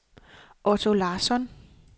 Otto Larsson